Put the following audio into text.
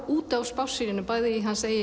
út á spássíunni bæði í hans